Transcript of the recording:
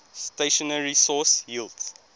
stationary source yields